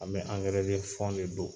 An bɛ de fɔ de don.